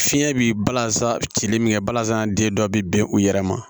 Fiɲɛ bi balansa cili min kɛ balazan den dɔ bɛ bin u yɛrɛ ma